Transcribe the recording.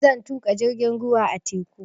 Zan tuƙa jirgin ruwa a teku